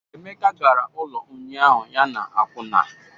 Emeka gara ụlọ ụnyaahụ ya na akwụna